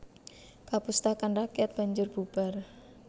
Kapustakan rakyat banjur bubar